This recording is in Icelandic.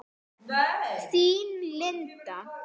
Þín, Linda.